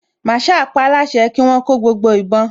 Màsáà paáláṣẹ kí wọ́n kó gbogbo ìbọn